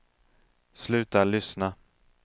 sluta lyssna